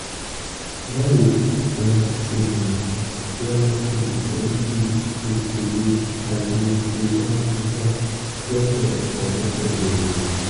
báwo la ṣe lè la ṣe lè tọ́jú ìṣòro àìlèṣe dáadáa lọ́dọ̀ ọ̀rẹ́bìnrin mi?